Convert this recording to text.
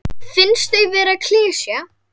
Finnst þau vera klisja.